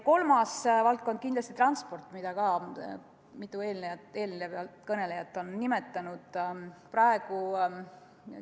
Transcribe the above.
Kolmas valdkond on kindlasti transport, mida ka mitu eelkõnelejat on nimetanud.